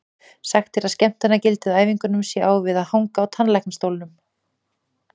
Sagt er að skemmtanagildið á æfingunum sé á við að hanga í tannlæknastólnum.